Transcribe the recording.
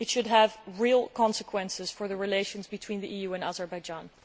They should have real consequences for the relations between the EU and Azerbaijan.